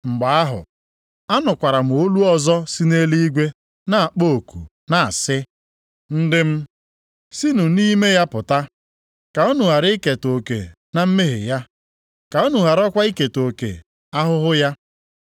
Mgbe ahụ, anụkwara m olu ọzọ si nʼeluigwe na-akpọ oku na-asị, “ ‘Ndị m, sinụ nʼime ya pụta,’ + 18:4 \+xt Jer 51:45\+xt* ka unu ghara iketa oke na mmehie ya, ka unu gharakwa iketa oke ahụhụ ya.